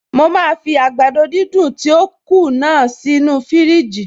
Mo máa fi àgbàdo dídùn tí ó kù náà sí inú fiírìjì